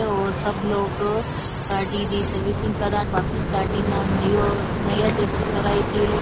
और सब लोग गाड़ी री सर्विसिंग करान वापिस गाड़ी न नयो नया जैसे करायेति है।